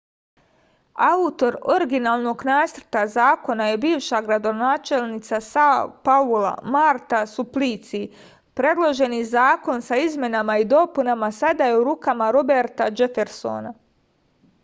autor originalnog nacrta zakona je bivša gradonačelnica sao paula marta suplici predloženi zakon sa izmenama i dopunama sada je u rukama roberta džefersona